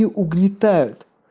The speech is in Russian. и угнетают